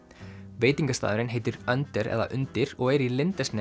veitingastaðurinn heitir eða undir og er í